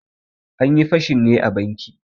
Anyi fashin ne a banki.